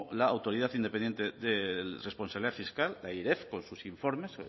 la autoridad independiente de responsabilidad fiscal la airef con sus informes